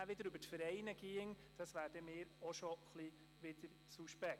Eine Finanzierung über Vereine wäre mir etwas suspekt.